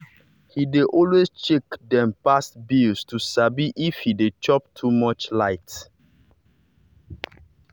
he dey always check dem past bills to sabi if he dey chop too much light.